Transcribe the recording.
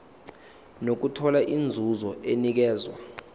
nokuthola inzuzo enikezwa